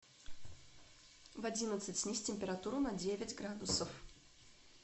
в одиннадцать снизь температуру на девять градусов